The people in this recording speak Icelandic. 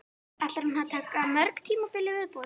Ætlar hún að taka mörg tímabil í viðbót?